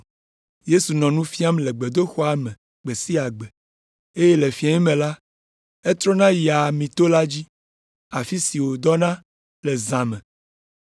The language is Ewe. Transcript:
Yesu nɔ nu fiam le gbedoxɔa me gbe sia gbe, eye le fiẽ me la, etrɔna yia Amito la dzi, afi si wòdɔna le zã me,